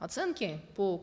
оценки по